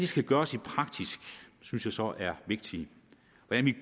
skal gøres i praksis synes jeg så er vigtigt